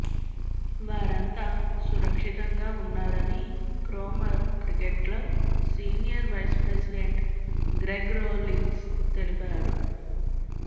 వారంతా సురక్షితంగా ఉన్నారని Cromer cricket club senior vice president Greg Rollins తెలిపారు